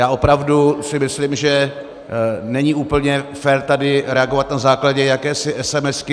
Já opravdu si myslím, že není úplně fér tady reagovat na základě jakési esemesky.